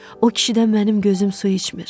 O kişidən mənim gözüm su içmir.